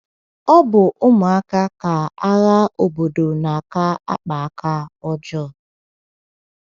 Ọ bụ ụmụaka ka agha obodo na - aka akpa aka ọjọọ.